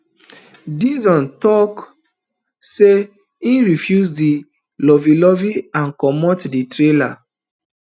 dixon tok say im refuse di loveylovey and comot di trailer